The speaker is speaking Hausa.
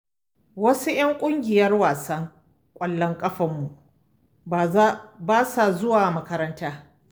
Wasu 'yan ƙungiyar wasan ƙwallon ƙafanmu, ba sa zuwa makaranta.